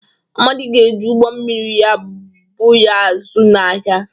Amadi ga-eji ụgbọ mmiri ya bụ ga azụ̀ n’ahịa.